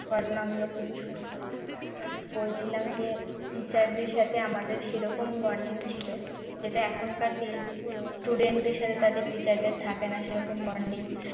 ঘটনাগুলি খুবই সুন্দর যেমন বলছিলাম যে teacher দের সাথে আমাদের সেরকম bonding ছিল যেটা এখনকার student দের সাথে তাদের teacher দের থাকে না সেরকম bonding